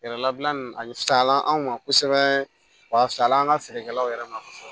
Yɛrɛlabila nin a fisayala an ma kosɛbɛ wa fisayala an ka feerekɛlaw yɛrɛ ma